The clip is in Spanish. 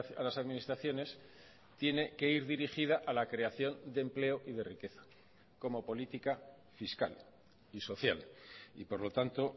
a las administraciones tiene que ir dirigida a la creación de empleo y de riqueza como política fiscal y social y por lo tanto